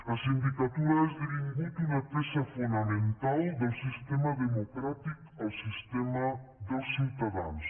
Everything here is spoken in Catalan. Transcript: la sindicatura ha esdevingut una peça fonamental del sistema democràtic el sistema dels ciutadans